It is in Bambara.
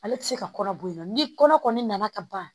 Ale tɛ se ka kɔnɔ b'o ye ni kɔnɔ nana ka ban